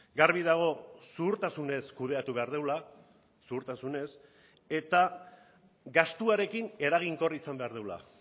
garbi dago zuhurtasunez kudeatu behar dugula zuhurtasunez eta gastuarekin eraginkor izan behar dugula